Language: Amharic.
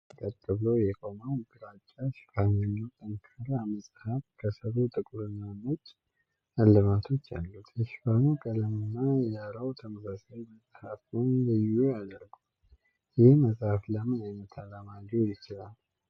ይህ ቀጥ ብሎ የቆመው ግራጫ ሽፋን ያለው ጠንካራ መጽሐፍ፣ ከሥሩ ጥቁርና ነጭ ዕልባቶች አሉት። የሽፋኑ ቀለምና የዳራው ተመሳሳይነት መጽሐፉን ልዩ ያደርገዋል። ይህ መጽሐፍ ለምን ዓይነት ዓላማ ሊውል ይችላል?